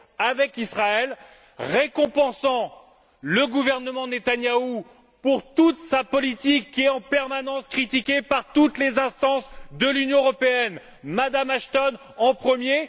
avec Israël, récompensant le gouvernement Netanyahou pour toute sa politique qui est, en permanence, critiquée par toutes les instances de l'Union européenne, Mme Asthon en premier.